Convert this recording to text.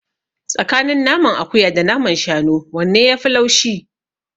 Tsakanin naman akuya da naman shanu wanne yafi laushi?